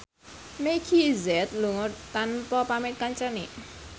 Meggie Z lunga tanpa pamit kancane